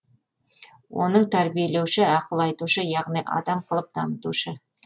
оның тәрбиелеуші ақыл айтушы яғни адам қылып дамытушы